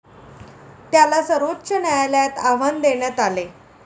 त्याला सर्वोच्च न्यायालयात आव्हान देण्यात आले.